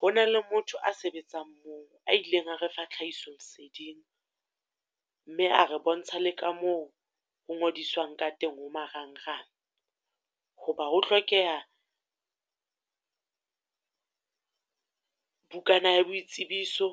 Ho na le motho a sebetsang moo, a ileng a re fa tlhahiso leseding. Mme a re bontsha le ka moo ho ngodiswang ka teng ho marangrang. Ho ba ho hlokeha, bukana ya boitsebiso